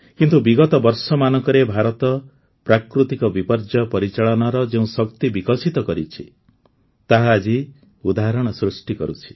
କିନ୍ତୁ ବିଗତ ବର୍ଷମାନଙ୍କରେ ଭାରତ ପ୍ରାକୃତିକ ବିପର୍ଯ୍ୟୟ ପରିଚାଳନାର ଯେଉଁ ଶକ୍ତି ବିକଶିତ କରିଛି ତାହା ଆଜି ଉଦାହରଣ ସୃଷ୍ଟି କରୁଛି